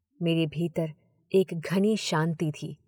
मेरे भीतर एक घनी शांति थी।